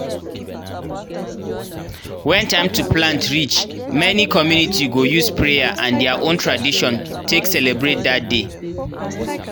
when time to plant reach many community go use prayer and their own tradition take celebrate dat day.